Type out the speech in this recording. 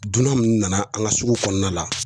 Dunan munnu nana an ka sugu kɔnɔna la